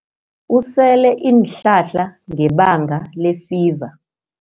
Usele iinhlahla ngebanga lefiva.